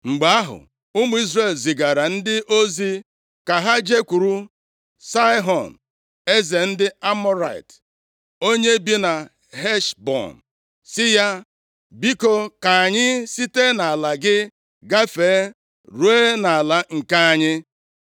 “Mgbe ahụ, ụmụ Izrel zigara ndị ozi ka ha jekwuru Saịhọn eze ndị Amọrait, onye bi na Heshbọn, sị ya, ‘Biko, ka anyị site nʼala gị gafee ruo nʼala nke anyị.’